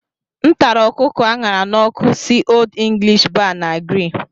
M tara ọkụkọ a ṅara n'ọkụ si Old English Bar na Grill.